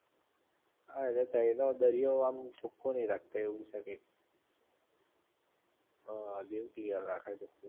હા એટલે તઈ નો દરિયો આમ ચોખ્ખો નહિ રાખતા એવું છે કઈક હઅ દીવ ક્લિયર રાખે છે